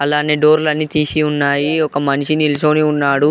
అలానె డోర్లన్ని తీసి ఉన్నాయీ ఒక మనిషి నీల్స్లోని ఉన్నాడు.